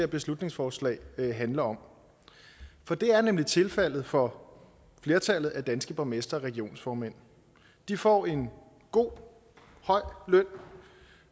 beslutningsforslag handler om for det er nemlig tilfældet for flertallet af danske borgmestre og regionsformænd de får en god høj løn